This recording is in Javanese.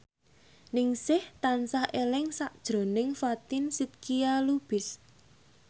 Ningsih tansah eling sakjroning Fatin Shidqia Lubis